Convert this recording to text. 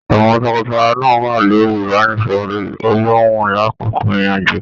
Àwọn tọkọtaya náà wà lórí ibanisọrọ olòhùn l'akoko ìrìn àjò.